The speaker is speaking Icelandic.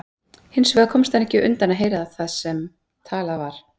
Hins vegar komst hann ekki undan að heyra það sem talað var.